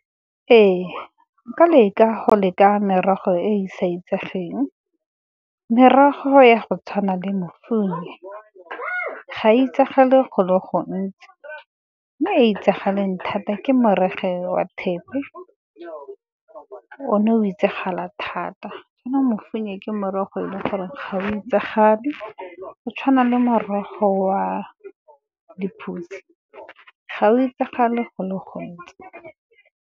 Ee, nka leka go leka merogo e e sa itsegeng. Merogo ya go tshwana le ga e itsagale go le gontsi, mme e e itsagaleng thata ke morogo ka wa thepe, o ne o itsagala thata. Ke morogo e le gore ga o itsagale go tshwana le morogo wa lephutse ga o itsagale go le gontsi.